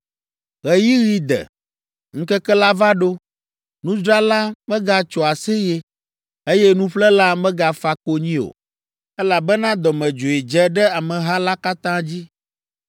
Ɣeyiɣi de, ŋkeke la va ɖo. Nudzrala megatso aseye, eye nuƒlela megafa konyi o, elabena dɔmedzoe dze ɖe ameha la katã dzi.